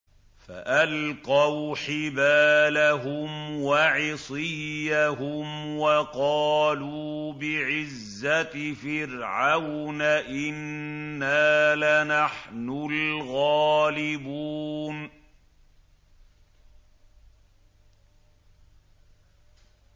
فَأَلْقَوْا حِبَالَهُمْ وَعِصِيَّهُمْ وَقَالُوا بِعِزَّةِ فِرْعَوْنَ إِنَّا لَنَحْنُ الْغَالِبُونَ